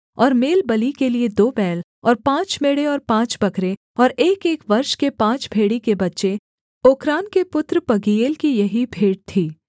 और मेलबलि के लिये दो बैल और पाँच मेढ़े और पाँच बकरे और एकएक वर्ष के पाँच भेड़ी के बच्चे ओक्रान के पुत्र पगीएल की यही भेंट थी